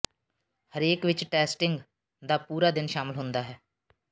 ਹਰੇਕ ਵਿੱਚ ਟੈਸਟਿੰਗ ਦਾ ਪੂਰਾ ਦਿਨ ਸ਼ਾਮਲ ਹੁੰਦਾ ਹੈ